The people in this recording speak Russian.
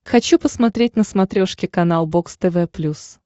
хочу посмотреть на смотрешке канал бокс тв плюс